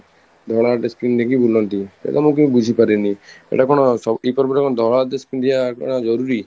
ଧଳା dress ପିନ୍ଧି ଦେଇକି ବୁଲନ୍ତି ଏ କଥା ମୁଁ କେବେ ବୁଝି ପାରେନିଏଇଟା କ'ଣ ସ ଏଇ ପର୍ବରେ କଣ ଧଳା dress ପିନ୍ଧିବା କଣ ଜରୁରୀ?